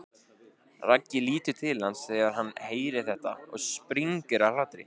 Raggi lítur til hans þegar hann heyrir þetta og springur af hlátri.